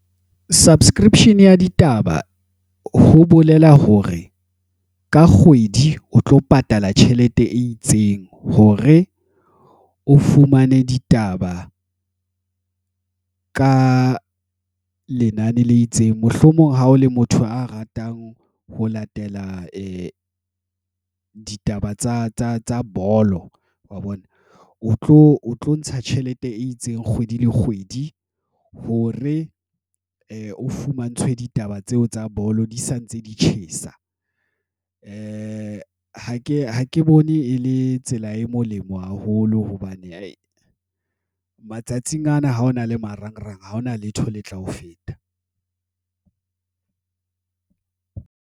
Subscription ya ditaba ho bolela hore ka kgwedi o tlo patala tjhelete e itseng hore o fumane ditaba ka lenane le itseng. Mohlomong ha o le motho a ratang ho latela ditaba tsa bolo wa bona, o tlo ntsha tjhelete e itseng kgwedi le kgwedi hore o fumantshwe ditaba tseo tsa bolo di sa ntse di tjhesa. Ha ke bone e le tsela e molemo haholo hobane matsatsing ana ha hona le marangrang haona letho le tla ho feta